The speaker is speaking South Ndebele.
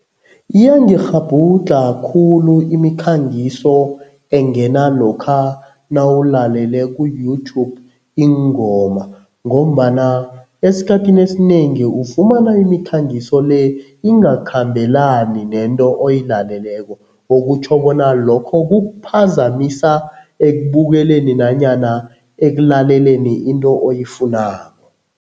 Iyangikghabhudlha khulu imikhangiso engena lokha nawulalele ku-YouTube iingoma ngombana esikhathini esinengi ufumana imikhangiso le ingakhambelani nento oyilaleleko okutjho bona lokho kukuphazamisa ekubukeleni nanyana ekulaleleni into oyifunako.